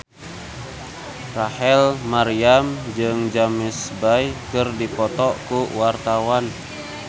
Rachel Maryam jeung James Bay keur dipoto ku wartawan